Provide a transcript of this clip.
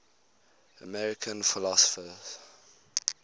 american philosophers